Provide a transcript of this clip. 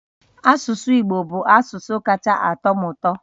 Asụsụ Igbo bụ asụsụ kacha atọ m ụtọ